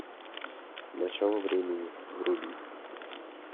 начало времени вруби